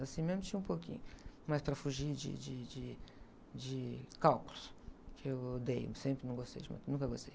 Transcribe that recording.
Assim mesmo tinha um pouquinho, mas para fugir de, de, de, de cálculos, que eu odeio, sempre não gostei, nunca gostei.